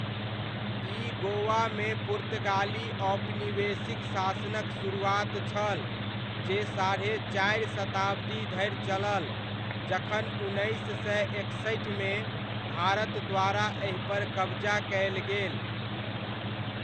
ई गोवामे पुर्तगाली औपनिवेशिक शासनक सुरुआत छल जे साढ़े चारि शताब्दी धरि चलल जखन उन्नैस सय एकसठिमे भारत द्वारा एहिपर कबजा कयल गेल।